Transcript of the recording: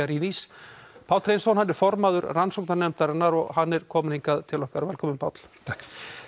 Macchiarinis Páll Hreinsson er formaður rannsóknarnefndarinnar hann er kominn hingað til okkar velkominn Páll takk